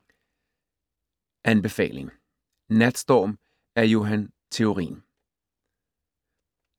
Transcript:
Anbefaling: Natstorm af Johan Theorin